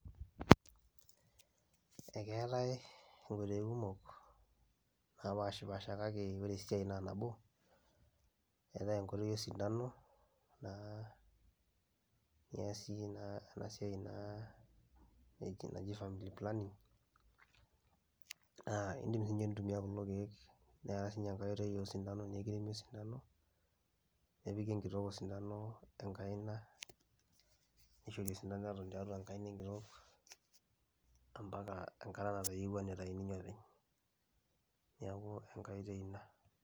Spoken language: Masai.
Akeetae nkotelini kumok napashipasha kake ore esiai na nabo eatae enkutuk osidano, keas enasiai naji family planning neatae kulo kiek, netae si enkoitoi osintano nikiudi osintano nepiki enkitok osindano enkaina, neishori osindano eton tiatua enkaina ambaka natayieuwua ninye nitau openy, neaku enkae oitoi ina